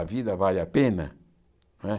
A vida vale a pena? Não é